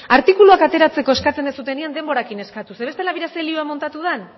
artikuluak ateratzeko eskatzen duzuenean denborarekin eskatu bestela begira ze lio muntatu den